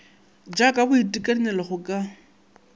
ja ka boitekanelo go ka